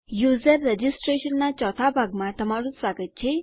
user registration નાં ચોથા ભાગમાં તમારું સ્વાગત છે